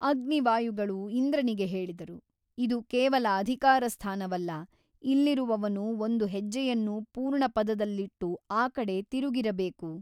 ಅಗ್ನಿ ವಾಯುಗಳು ಇಂದ್ರನಿಗೆ ಹೇಳಿದರು ಇದು ಕೇವಲ ಅಧಿಕಾರ ಸ್ಥಾನವಲ್ಲ ಇಲ್ಲಿರುವವನು ಒಂದು ಹೆಜ್ಜೆಯನ್ನು ಪೂರ್ಣಪದದಲ್ಲಿಟ್ಟು ಆ ಕಡೆ ತಿರುಗಿರಬೇಕು.